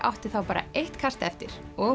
átti þá bara eitt kast eftir og